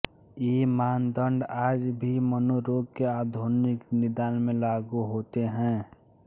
ये मानदंड आज भी मनोरोग के आधुनिक निदान में लागू होते हैं